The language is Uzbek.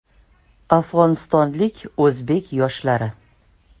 Afg‘onistonlik o‘zbek yoshlari.